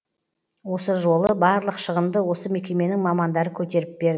осы жолы барлық шығынды осы мекеменің мамандары көтеріп бер